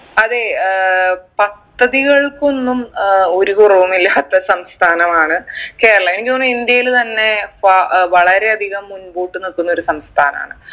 അതെ ഏർ പദ്ധതികൾക്കൊന്നും ഏർ ഒരു കുറവുമില്ലാത്ത സംസ്ഥാനമാണ് കേരളം എനിക്ക് തോന്നു ഇന്ത്യയിൽ തന്നെ വാ ഏർ വളരെ അധികം മുൻകൂട്ട് നിക്കുന്ന ഒരു സംസ്ഥാനാണ്